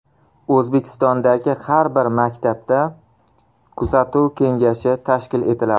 O‘zbekistondagi har bir maktabda kuzatuv kengashi tashkil etiladi.